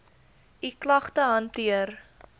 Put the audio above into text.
u klagte hanteer